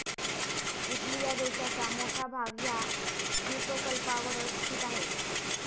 Italy या देशाचा मोठा भाग ह्या द्विपकल्पावरच स्थित आहे.